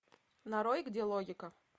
нарой где логика